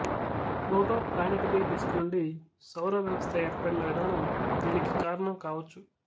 protoplanetary disk నుండి సౌర వ్యవస్థ ఏర్పడిన విధానం దీనికి కారణం కావచ్చు